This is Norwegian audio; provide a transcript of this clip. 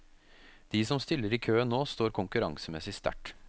De som stiller i køen nå står konkurransemessig sterkt.